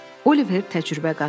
Oliver təcrübə qazanır.